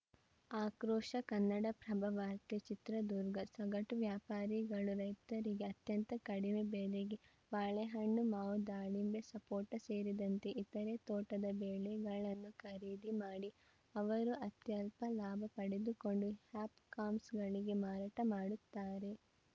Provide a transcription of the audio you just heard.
ಆಕ್ರೋಶ ಕನ್ನಡಪ್ರಭ ವಾರ್ತೆ ಚಿತ್ರದುರ್ಗ ಸಗಟು ವ್ಯಾಪಾರಿಗಳು ರೈತರಿಂದ ಅತ್ಯಂತ ಕಡಿಮೆ ಬೆಲೆಗೆ ಬಾಳೆಹಣ್ಣು ಮಾವು ದಾಳಿಂಬೆ ಸಪೋಟ ಸೇರಿದಂತೆ ಇತರೆ ತೋಟದ ಬೆಳೆಗಳನ್ನು ಖರೀದಿ ಮಾಡಿ ಅವರು ಅತ್ಯಲ್ಪ ಲಾಭ ಪಡೆದುಕೊಂಡು ಹಾಪ್‌ಕಾಮ್ಸ್‌ಗಳಿಗೆ ಮಾರಾಟ ಮಾಡುತ್ತಾರೆ